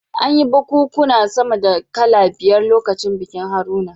An yi bikunkuna sama da kala biyar lokacin bikin Haruna